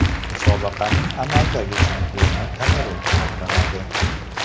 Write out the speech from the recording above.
Musobaqaning amaldagi chempioni Kamerun hisoblanadi.